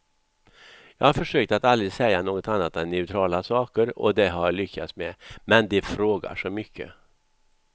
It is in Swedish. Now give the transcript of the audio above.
Jag har försökt att aldrig säga något annat än neutrala saker och det har jag lyckats med, men de frågar så mycket.